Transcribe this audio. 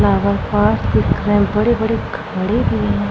बड़ी-बड़ी घड़ी भी है।